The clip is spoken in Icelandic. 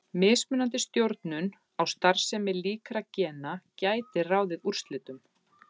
Mismunandi stjórnun á starfsemi líkra gena gæti ráðið úrslitum.